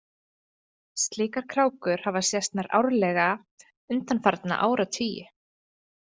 Slíkar krákur hafa sést nær árlega undanfarna áratugi.